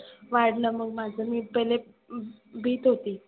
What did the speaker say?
वाढलं माझ मग मी पहिले भीत होती.